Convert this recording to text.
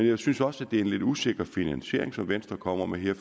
jeg synes også det er en lidt usikker finansiering som venstre kommer med her